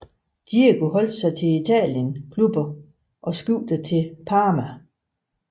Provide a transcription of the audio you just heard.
Diego holdt sig til Italien klubber og skiftede til Parma